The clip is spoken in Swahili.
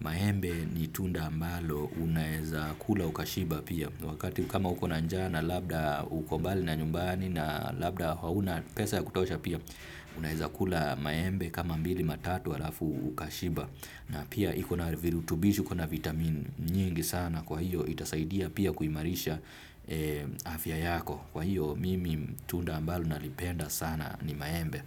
Maembe ni tunda ambalo, unaeza kula ukashiba pia. Wakati kama uko na njaa, na labda uko mbali na nyumbani na labda hauna pesa ya kutosha pia, unaeza kula maembe kama mbili matatu, halafu ukashiba. Na pia iko na virutubisho iko na vitamin nyingi sana kwa hiyo itasaidia pia kuimarisha afya yako. Kwa hiyo mimi tunda ambalo nalipenda sana ni maembe.